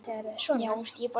Þeir brosa til hans.